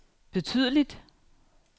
betydeligt